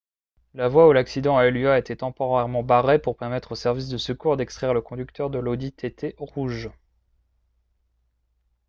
la voie où l'accident a eu lieu a été temporairement barrée pour permettre aux services de secours d'extraire le conducteur de l'audi tt rouge